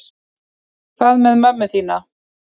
Hvað með mömmu þína?